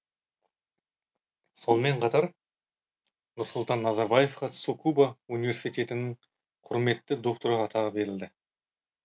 сонымен қатар нұрсұлтан назарбаевқа цукуба университетінің құрметті докторы атағы берілді